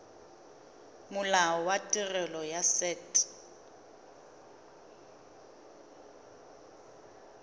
molao wa tirelo ya set